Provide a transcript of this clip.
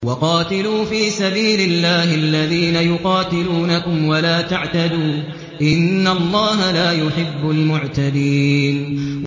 وَقَاتِلُوا فِي سَبِيلِ اللَّهِ الَّذِينَ يُقَاتِلُونَكُمْ وَلَا تَعْتَدُوا ۚ إِنَّ اللَّهَ لَا يُحِبُّ الْمُعْتَدِينَ